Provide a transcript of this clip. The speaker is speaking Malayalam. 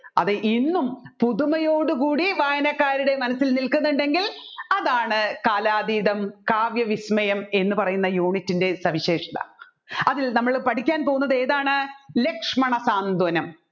അത് ഇന്നും പുതുമയോട് കൂടി വായാനാക്കാരുടെ മനാസ്സിൽ നിൽക്കുന്നുണ്ടെങ്കിൽ അതാണ് കാലാതീതം കാവ്യവിസ്മയം എന്ന് പറയുന്ന unit ൻറെ സവിശേഷത അതിൽ നമ്മൾ പഠിക്കാൻ പോകുന്നത് ഏതാണ് ലക്ഷ്മണ